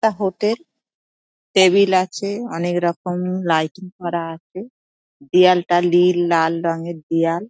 টা hotel table আছে অনেক রকম লাইটিং করা আছে দেওয়ালটা নীল লাল রঙের দেওয়াল ।